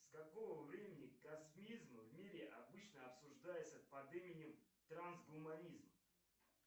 с какого времени космизм в мире обычно обсуждается под именем трансгуманизм